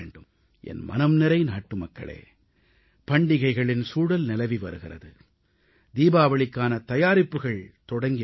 என் மனம் நிறை நாட்டு மக்களே பண்டிகைகளின் சூழல் நிலவி வருகிறது தீபாவளிக்கான தயாரிப்புகள் தொடங்கி விட்டன